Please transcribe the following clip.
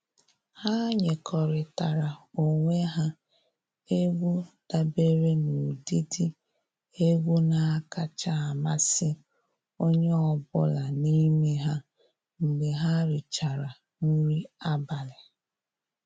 Ha nyekọrịtara onwe ha egwu dabere n'ụdịdị egwu na-akacha amasị onye ọbụla n'ime ha mgbe ha richara nri abalị.